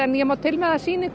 ég má til með að sýna ykkur